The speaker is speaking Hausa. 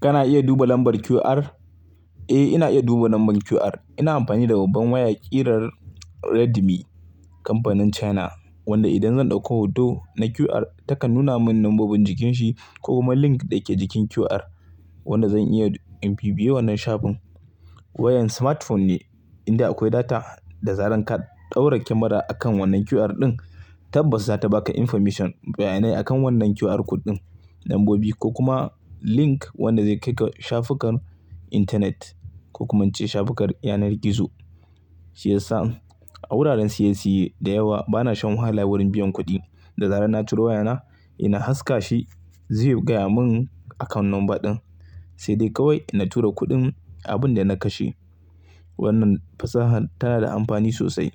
Kana iya duba lambar QR? Eh, ina iya duba namban QR. Ina amfani da babban waya kirar Redmi kamfanin China wanda idan zan ɗauko hoto na QR takan nuna min lambobin jikinshi ko kuma link da yake jikin QR wanda zan iya in bibiye wannan shafin. Wayan smartphone ne inda akwai data da zaran ka Ɗaura kyamara akan wannan QR ɗin tabbas zata baka information bayanai akan wannan QR code ɗin, nambobi ko kuma link wanda zai kai ka shafukan intanet ko kuma wance shafukar yanar gizo. Shi yasa a wuraren siye siye da yawa bana shan wahala wurin biyan kuɗi, da zaran na curo wayana ina haska shi zai gaya mun akawun number ɗin, sai dai kawai na tura kuɗin abun da na kashe. Wannan fasahan tana da amfani sosai